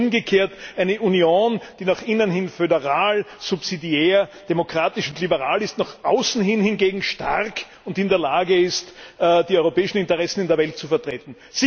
Oder wollen Sie umgekehrt eine Union, die nach innen föderal, subsidiär, demokratisch und liberal ist, nach außen hin hingegen stark und in der Lage ist, die europäischen Interessen in der Welt zu vertreten?